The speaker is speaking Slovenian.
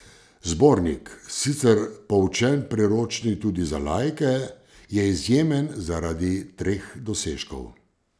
Zbornik, sicer poučen priročnik tudi za laike, je izjemen zaradi treh dosežkov.